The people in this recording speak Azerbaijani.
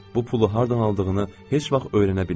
Bu pulu hardan aldığını heç vaxt öyrənə bilmədim.